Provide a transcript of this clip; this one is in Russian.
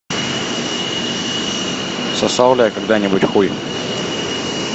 сосал ли я когда нибудь хуй